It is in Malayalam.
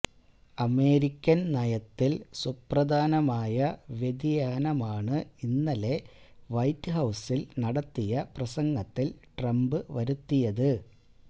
അമേരിക്കൻ നയത്തിൽ സുപ്രധാനമായ വ്യതിയാനമാണ് ഇന്നലെ വൈറ്റ്ഹൌസിൽ നടത്തിയ പ്രസംഗത്തിൽ ട്രംപ് വരുത്തിയത്